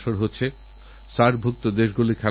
আর ১৫ই আগস্ট স্বাধীনতার৭০ বছর হতে চলেছে